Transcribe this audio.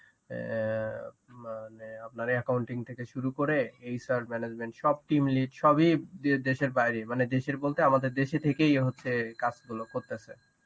অ্যাঁ মানে আপনার accounting থেকে শুরু করে এইসব management সব team lead সবই দেশের বাইরে অ্যাঁ মানে দেশের বলতে আমাদের দেশে থেকেই হচ্ছে কাজগুলো করতেছে